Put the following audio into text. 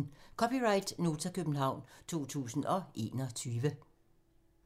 (c) Nota, København 2021